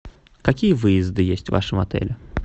какие выезды есть в вашем отеле